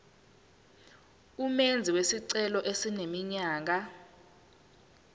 umenzi wesicelo eneminyaka